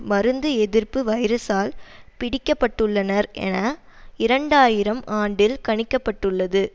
மருந்து எதிர்ப்பு வைரசால் பீடிக்கப்பட்டுள்ளனர் என இரண்டு ஆயிரம் ஆண்டில் கணிக்க பட்டுள்ளது